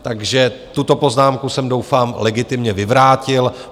Takže tuto poznámku jsem, doufám, legitimně vyvrátil.